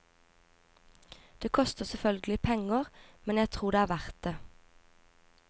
Det koster selvfølgelig penger, men jeg tror det er verdt det.